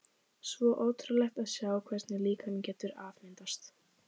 Svo ótrúlegt að sjá hvernig líkaminn getur afmyndast.